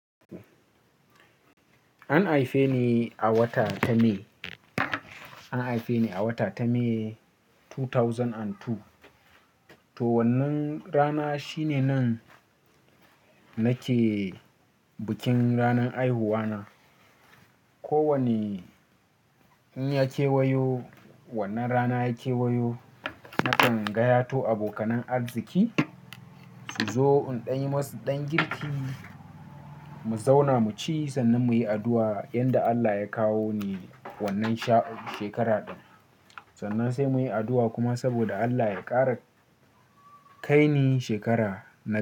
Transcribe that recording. An haife ni a wata ta May, an haife ni a wata ta May dubu biyu da biyu. To wannan rana shine nan, nake bikin ranan haihuwa na. Ko wane, in ya kewayo, wannan rana ya kewayo, nakan gaya to abokanan arziki, su zo in ɗan yi masu ɗan girki, mu zauna mu ci sannan muyi addu'a, yanda Allah ya kawo ni wannan sha-- shekara ɗin. Sannan sai muyi addu'a kuma saboda Allah ya ƙara-- kai ni shekara na.